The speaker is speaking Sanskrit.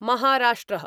महाराष्ट्र: